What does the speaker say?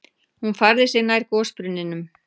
Hún færði sig nær gosbrunninum.